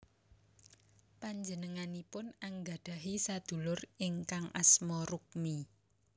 Panjenenganipun anggadhahi sadulur ingkang asma Rukmi